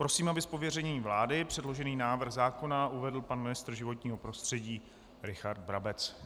Prosím, aby z pověření vlády předložený návrh zákona uvedl pan ministr životního prostředí Richard Brabec.